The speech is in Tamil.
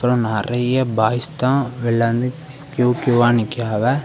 நெறைய பாய்ஸ் தான் வெளிய வந்து கியூ கியூவா நிக்குறாவ.